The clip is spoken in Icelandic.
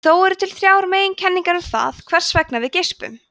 þó eru til þrjár meginkenningar um það hvers vegna við geispum